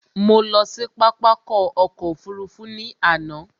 Mo lọ sí pápákọ̀ ọkọ̀ òfurufú ní àná